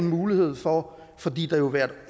mulighed for at fordi det vil være